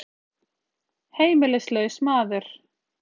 Heimilislaus maður.